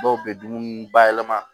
Dɔw be dumuni bayɛlɛma